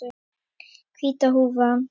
Hvíta húfan.